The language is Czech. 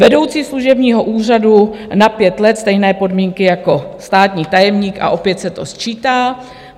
Vedoucí služebního úřadu na 5 let stejné podmínky jako státní tajemník a opět se to sčítá.